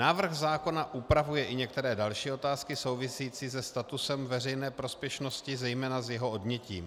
Návrh zákona upravuje i některé další otázky související se statusem veřejné prospěšnosti, zejména s jeho odnětím.